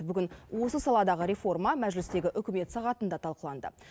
бүгін осы саладағы реформа мәжілістегі үкімет сағатында талқыланды